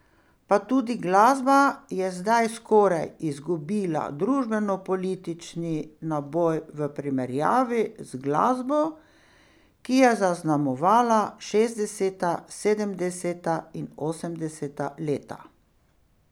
Pa tudi glasba je zdaj skoraj izgubila družbenopolitični naboj v primerjavi z glasbo, ki je zaznamovala šestdeseta, sedemdeseta in osemdeseta leta.